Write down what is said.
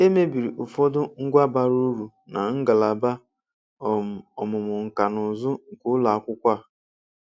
E mebiri ụfọdụ ngwa bara uru na ngalaba um ọmụmụ nkanụzụ̀ nke ụlọakwụkwọ a.